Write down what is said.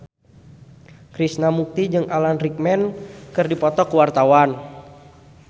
Krishna Mukti jeung Alan Rickman keur dipoto ku wartawan